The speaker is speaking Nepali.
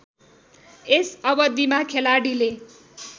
यस अवधिमा खेलाडीले